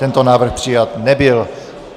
Tento návrh přijat nebyl.